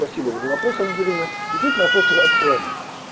спасибо за вопрос ангелина действительно вопрос актуальный